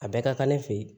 A bɛɛ ka kan ne fe yen